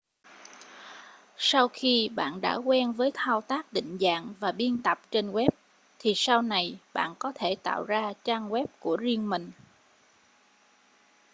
sau khi bạn đã quen với thao tác định dạng và biên tập trên web thì sau này bạn có thể tạo ra trang web của riêng mình